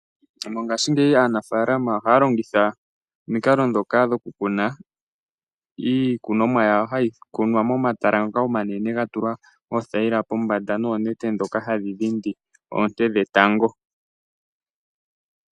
Mongashingeyi aanafaalama ohaya longitha omikalo ndhoka dhokukuna iikunomwa yawo hayi kunwa momatala ngoka omanene ga tulwa oothayila pombanda noonete ndhoka hadhi dhindi oonte dhetango.